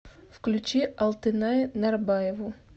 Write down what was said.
включи алтынай нарбаеву